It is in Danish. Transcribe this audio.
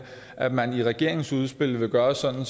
at man i regeringens udspil vil gøre det sådan